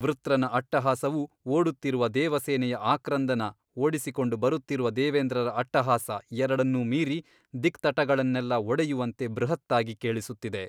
ವೃತ್ರನ ಅಟ್ಟಹಾಸವು ಓಡುತ್ತಿರುವ ದೇವಸೇನೆಯ ಆಕ್ರಂದನ ಓಡಿಸಿಕೊಂಡು ಬರುತ್ತಿರುವ ದಾನವೇಂದ್ರರ ಅಟ್ಟಹಾಸ ಎರಡನ್ನೂ ಮೀರಿ ದಿಕ್ತಟಗಳನ್ನೆಲ್ಲಾ ಒಡೆಯುವಂತೆ ಬೃಹತ್ತಾಗಿ ಕೇಳಿಸುತ್ತಿದೆ.